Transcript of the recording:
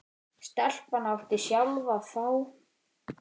Stelpan átti sjálf að fá.